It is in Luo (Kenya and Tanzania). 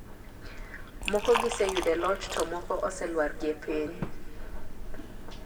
moko gise yude loch to moko ose lwar gie piny.